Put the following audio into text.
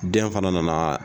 Den fana nana.